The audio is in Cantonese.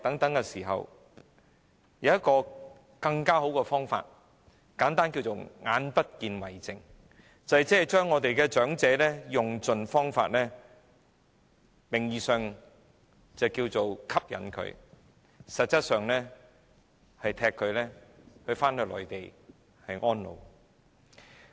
就在這時候，有人想出一種更好的方法，簡單可稱之為"眼不見為淨"，就是用盡方法吸引長者到內地居住，但實質上是把他們趕回內地安老。